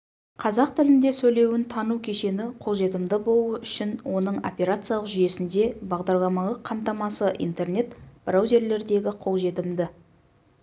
қазақ тілінде сөйлеуін тану кешені қолжетімді болуы үшін оның операциялық жүйесінде бағдарламалық қамтамасы интернет браузерлердегі қолжетімді